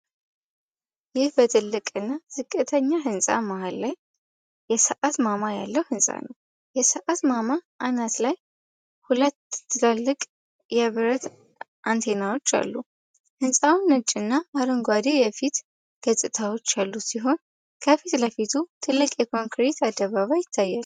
ይህ በትልቅ እና ዝቅተኛ ህንጻ መሃል ላይ የሰዓት ማማ ያለበት ሕንጻ ነው። የሰዓት ማማው አናት ላይ ሁለት ትላልቅ የብረት አንቴናዎች አሉ። ሕንጻው ነጭና አረንጓዴ የፊት ገጽታዎች ያሉት ሲሆን፤ ከፊት ለፊቱ ትልቅ የኮንክሪት አደባባይ ይታያል።